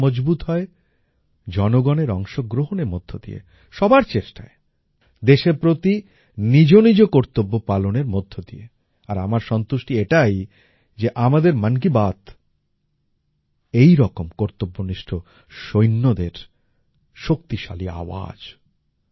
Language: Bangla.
গণতন্ত্র মজবুত হয় জনগণের অংশগ্রহণের মধ্যে দিয়ে সবার চেষ্টায় দেশের প্রতি নিজ নিজ কর্তব্য পালনের মধ্যে দিয়ে আর আমার সন্তুষ্টি এটাই যে আমাদের মন কি বাত এইরকম কর্তব্যনিষ্ঠ সৈন্যদের শক্তিশালী আওয়াজ